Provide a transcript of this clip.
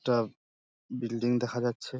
একটা বিল্ডিং দেখা যাচ্ছে |